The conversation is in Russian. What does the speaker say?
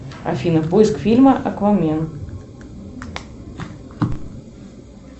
афина поиск фильма аквамен